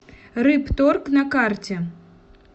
рыбторг на карте